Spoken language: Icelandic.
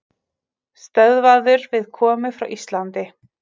Stöðvaður við komu frá Íslandi